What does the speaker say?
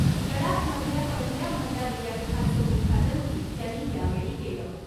लडाख मधल्या पहिल्या महिला विद्यापीठाचं उद्घाटनही त्यांनी यावेळी केलं .